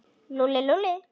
Lúlli, Lúlli.